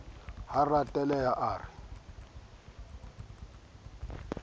ha a reteleha a re